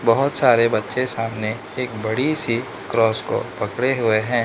बहोत सारे बच्चे सामने एक बड़ीसी क्रॉस को पकड़े हुएं हैं।